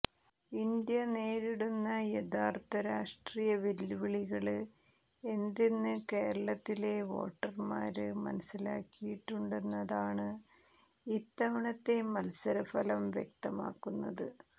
India നേരിടുന്ന യഥാര്ത്ഥ രാഷ്ട്രീയ വെല്ലുവിളികള് എന്തെന്ന് കേരളത്തിലെ വോട്ടര്മാര് മനസ്സിലാക്കിയിട്ടുണ്ടെന്നതാണ് ഇത്തവണത്തെ മത്സരഫലം വ്യക്തമാക്കുന്നത്